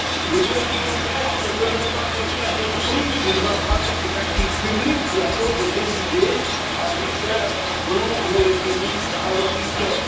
Le gouvernement grec ne peut même pas choisir à quel prix il va brader ses actifs publics la chose est décidée à Bruxelles, à Strasbourg, au FMI, à Washington.